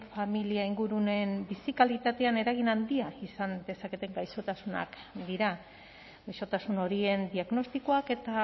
familia inguruneen bizi kalitatean eragin handia izan dezaketen gaixotasunak dira gaixotasun horien diagnostikoak eta